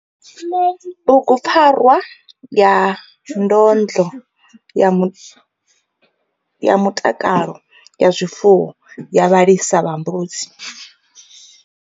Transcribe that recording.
Bugu PFARWA YA NDONDLO YA MUTAKALO WA ZWIFUWO YA VHALISA VHA MBUDZI.